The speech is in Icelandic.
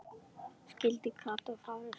Skyldi Kata hafa fitnað?